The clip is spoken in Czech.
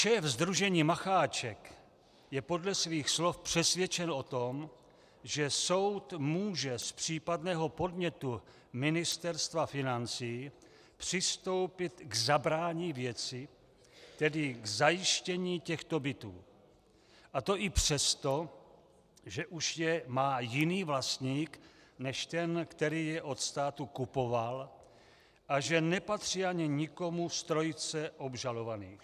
Šéf sdružení Macháček je podle svých slov přesvědčen o tom, že soud může z případného podnětu Ministerstva financí přistoupit k zabrání věci, tedy k zajištění těchto bytů, a to i přesto, že už je má jiný vlastník než ten, který je od státu kupoval, a že nepatří ani nikomu z trojice obžalovaných.